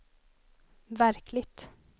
verkligt